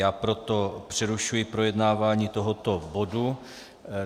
Já proto přerušuji projednávání tohoto bodu.